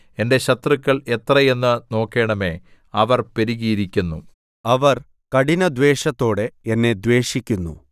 എന്റെ ശത്രുക്കൾ എത്രയെന്ന് നോക്കണമേ അവർ പെരുകിയിരിക്കുന്നു അവർ കഠിനദ്വേഷത്തോടെ എന്നെ ദ്വേഷിക്കുന്നു